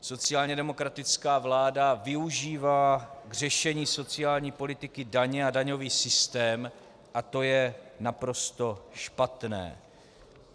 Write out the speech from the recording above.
Sociálně demokratická vláda využívá k řešení sociální politiky daně a daňový systém a to je naprosto špatné.